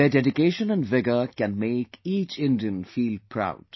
Their dedication and vigour can make each Indian feel proud